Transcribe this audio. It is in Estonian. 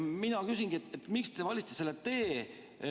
Mina küsingi, miks te valisite selle tee.